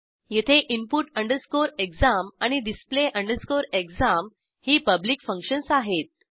येथे input exam आणि display exam ही पब्लिक फंक्शन्स आहेत